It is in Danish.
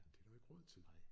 Det er der jo ikke råd til